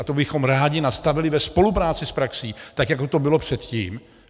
A to bychom rádi nastavili ve spolupráci s praxí, tak jako to bylo předtím.